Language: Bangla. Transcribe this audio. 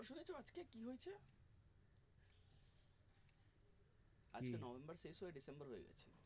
আজকে november শেষ হয়ে december হয়ে যাচ্ছে